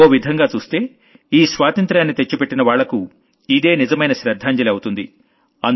ఓ విధంగా చూస్తే మనకి ఈ స్వాతంత్ర్యాన్ని తెచ్చిపెట్టిన వాళ్లకు ఇదే నిజమైన శ్రద్ధాంజలి అవుతుంది